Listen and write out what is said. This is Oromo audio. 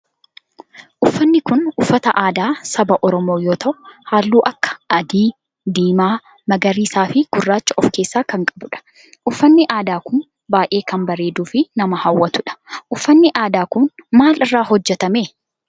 Uffanni kun uffata aadaa saba oromoo yoo ta'u halluu akka adii, diimaa, magariisaa fi gurraacha of keessaa kan qabudha. Uffanni aadaa kun baayyee kan bareeduu fi nama hawwatudha. Uffanni aadaa kun maal irraa hojjetame?